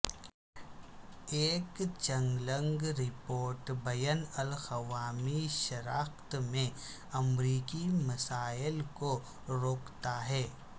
ایک چنگلنگ رپورٹ بین الاقوامی شراکت میں امریکی مسائل کو روکتا ہے